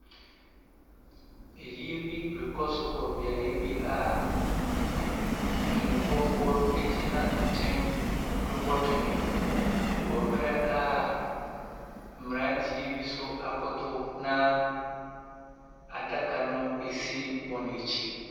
Ayie bi rekɔ so wɔ beaeɛ bi a twenebɔfoɔ gyina nkyɛn rebɔ twene, wɔ mmerɛ a mmeranteɛ bi nso akoto na adaka no si wɔn akyi.